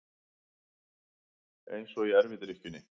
Eins og í erfidrykkjunni.